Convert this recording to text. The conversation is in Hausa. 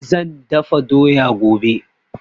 Zan dafa doya gobe